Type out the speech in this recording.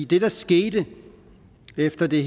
det der skete efter det